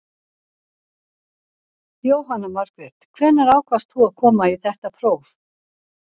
Jóhanna Margrét: Hvenær ákvaðst þú að koma í þetta próf?